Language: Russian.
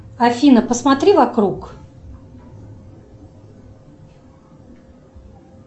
афина посмотри вокруг